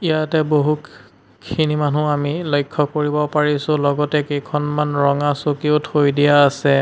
ইয়াতে বহু ক খিনি মানুহ আমি লক্ষ্য কৰিব পাৰিছোঁ লগতে কেইখনমান ৰঙা চকীও থৈ দিয়া আছে।